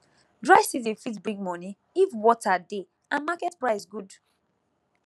dry season fit bring money if water dey and market price good